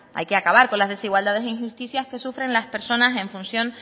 hay que acabar con las desigualdades e injusticias que sufren las personas en función